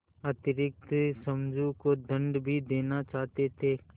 अतिरिक्त समझू को दंड भी देना चाहते थे